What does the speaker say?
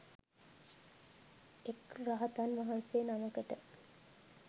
එක් රහතන් වහන්සේ නමකට